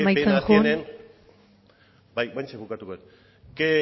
amaitzen joan bai orain bukatuko dut qué